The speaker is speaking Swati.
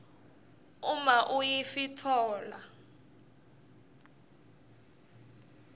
uma iuif itfola